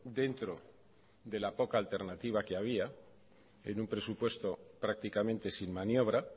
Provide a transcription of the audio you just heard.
dentro de la poca alternativa que había en un presupuesto prácticamente sin maniobra